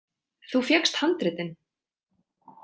Þú fékkst handritin.